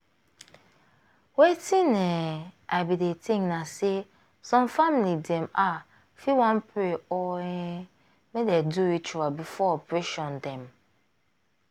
wetin um i bin dey think na say some family dem ah fit wan pray or um make dem do ritual before operation dem.